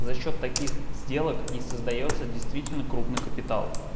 за счёт таких сделок и создаётся действительно крупный капитал